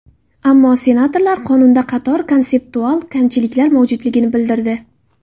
Ammo senatorlar qonunda qator konseptual kamchiliklar mavjudligini bildirdi.